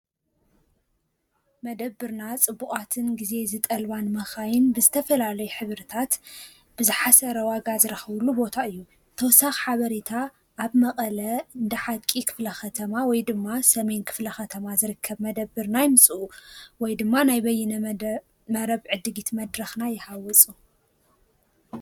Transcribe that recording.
መደብርና ፅቡቛትን ጊዜ ዝጠልበን መኻይን ብዝተፈላለይ ሕብርታት ብዙ ዝሓሰረ ዋጋ ዝረኽብሉ ቦታ እዩ። ተወሳኽ ሓበሬታ ኣብ መቐለ ዓደ ሓቂ ኽፍላ ኸተማ ወይ ድማ ሰሜን ክፍላ ኸተማ ዝርከብ መደብር ናይ ምጽኡ ወይ ድማ ናይ በይነ መረብ ዕድጊት መድራኽና ይሓወፁ።